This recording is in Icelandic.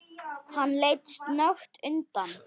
Hann leit snöggt undan.